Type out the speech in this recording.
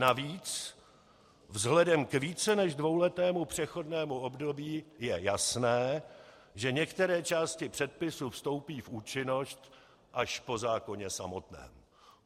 Navíc vzhledem k více než dvouletému přechodnému období je jasné, že některé části předpisu vstoupí v účinnost až po zákoně samotném.